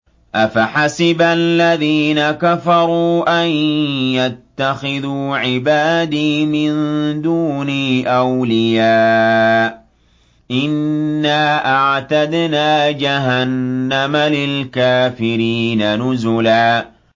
أَفَحَسِبَ الَّذِينَ كَفَرُوا أَن يَتَّخِذُوا عِبَادِي مِن دُونِي أَوْلِيَاءَ ۚ إِنَّا أَعْتَدْنَا جَهَنَّمَ لِلْكَافِرِينَ نُزُلًا